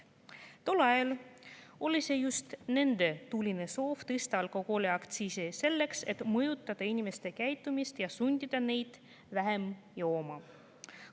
Tol ajal oli just nende tuline soov tõsta alkoholiaktsiisi selleks, et mõjutada inimeste käitumist ja sundida neid vähem jooma.